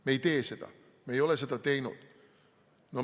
Me ei tee seda, me ei ole seda teinud.